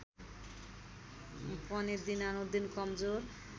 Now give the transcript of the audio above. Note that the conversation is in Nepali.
पनि दिनानुदिन कमजोर